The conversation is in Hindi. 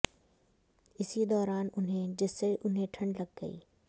इसी दौरान उन्हें जिससे उन्हें ठंड लग गई